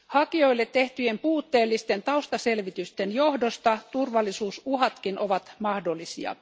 Hakijoille tehtyjen puutteellisten taustaselvitysten johdosta turvallisuusuhatkin ovat mahdollisia.